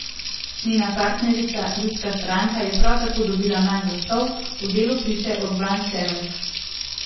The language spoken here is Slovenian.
Njena partnerica ljudska stranka je prav tako dobila manj glasov, v Delu piše Urban Červek.